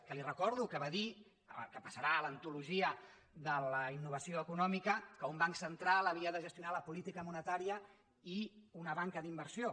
que li recordo que va dir que passarà a l’antologia de la innovació econòmica que un banc central havia de gestionar la política monetària i una banca d’inversió